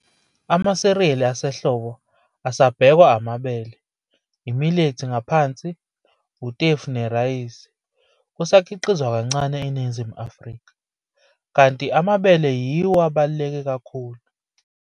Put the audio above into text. Amasiriayli asehlobo asabhekwa amabele, i-milethi ngaphansi, utefu nerayisi, kusakhiqizwa kancane eNingizimu Afrika, kanti amabele yiwo abaluleke kakhulu.